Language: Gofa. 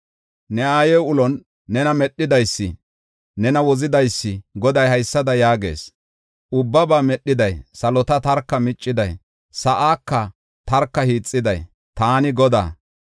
Ne aaye ulon nena medhidaysi, nena wozidaysi Goday haysada yaagees: Ubbabaa Medhiday, salota tarka micciday; sa7aaka tarka hiixiday, taani Godaa.